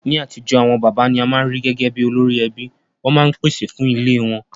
Ní atijọ́, àwon bàbá ni a ma n ri gẹgẹ bi olórí ẹbí, won ma n pèsè fun ilé won